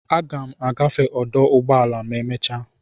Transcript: Aga m agafe ọdụ ụgbọ ala ma emecha.